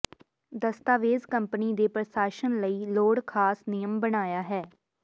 ਦਸਤਾਵੇਜ਼ ਕੰਪਨੀ ਦੇ ਪ੍ਰਸ਼ਾਸਨ ਲਈ ਲੋੜ ਖਾਸ ਨਿਯਮ ਬਣਾਇਆ ਹੈ